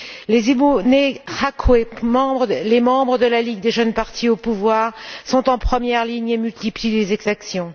Les Imbonerakure, les membres de la ligue des jeunes du parti au pouvoir, sont en première ligne et multiplient les exactions.